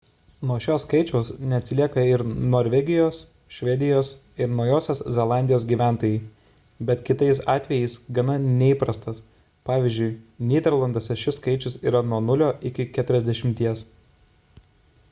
nuo šio skaičiaus neatsilieka ir norvegijos švedijos ir naujosios zelandijos gyventojai bet kitais atvejais gana neįprastas pvz. nyderlanduose šis skaičius yra nuo 0 iki 40